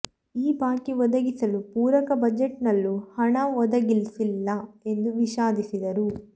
ಈ ಬಾಕಿ ಒದಗಿಸಲು ಪೂರಕ ಬಜೆಟ್ನಲ್ಲೂ ಹಣ ಒದಗಿಸಿಲ್ಲ ಎಂದು ವಿಷಾದಿಸಿದರು